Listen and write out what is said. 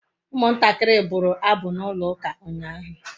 Umuntakiri bulu abu na ulo uka unyahu